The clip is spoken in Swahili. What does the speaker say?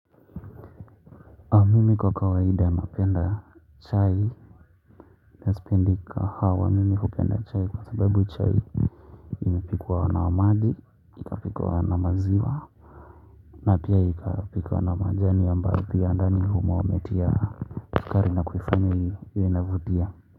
Mimi kwa kawaida napenda chai nasipendi kahawa mimi hupenda chai kwa sababu chai imepikwa na omadi ikapikwa na maziwa na pia ikapikwa na majani ambayo pia ndani humo wametia kali nakuifanya iwe inavutia.